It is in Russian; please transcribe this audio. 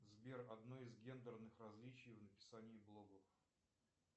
сбер одно из гендерных различий в написании блогов